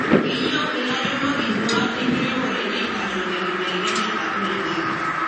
keyieu ilairemok induat enkiremore naitasho tenkibelekenyata oloingange.